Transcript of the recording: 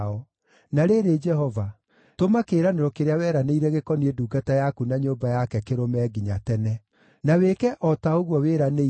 “Na rĩrĩ, Jehova, tũma kĩĩranĩro kĩrĩa weranĩire gĩkoniĩ ndungata yaku na nyũmba yake kĩrũme nginya tene. Na wĩke o ta ũguo wĩranĩire,